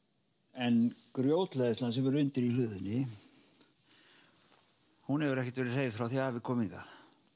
en grjóthleðslan sem er undir í hlöðunni hún hefur ekkert verið hreyfð frá því að afi kom hingað